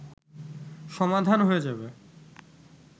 সমাধান হয়ে যাবে